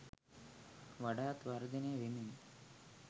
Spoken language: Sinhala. වඩාත් වර්ධනය වෙමින්